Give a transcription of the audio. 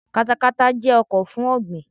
Katakata jẹ́ ọkọ̀ fún ọ̀ọ̀gbìn.